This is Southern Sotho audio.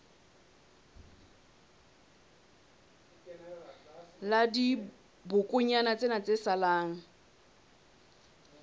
la dibokonyana tsena tse salang